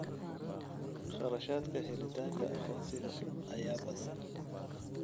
Kharashaadka helitaanka aqoonsiga ayaa badan.